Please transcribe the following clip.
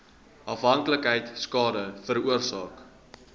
afhanklikheid skade veroorsaak